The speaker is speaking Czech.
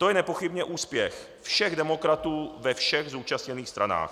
To je nepochybně úspěch všech demokratů ve všech zúčastněných stranách.